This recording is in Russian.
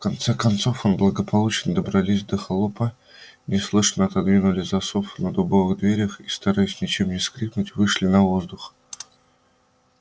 в конце концов они благополучно добрались до холопа неслышно отодвинули засов на дубовых дверях и стараясь ничем не скрипнуть вышли на воздух